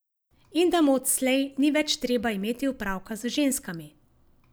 In da mu odslej ni več treba imeti opraviti z ženskami.